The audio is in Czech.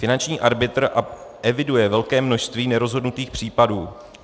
Finanční arbitr eviduje velké množství nerozhodnutých případů.